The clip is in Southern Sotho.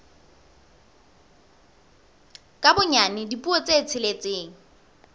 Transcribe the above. ka bonyane dipuo tse tsheletseng